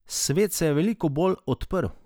Svet se je veliko bolj odprl ...